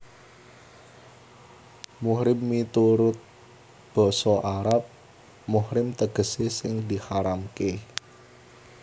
Muhrim miturut basa Arab muhrim tegesé sing diharamké